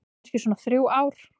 Kannski svona þrjú ár.